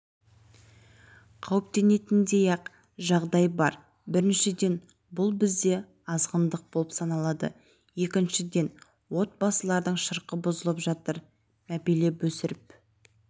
қауіптенетіндей-ақ жағдай бар біріншіден бұл бізде азғындық болып саналады екіншіден отбасылардың шырқы бұзылып жатыр мәпелеп өсіріп